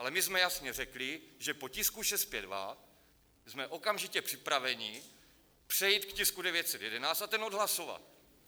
Ale my jsme jasně řekli, že po tisku 652 jsme okamžitě připraveni přejít k tisku 911 a ten odhlasovat.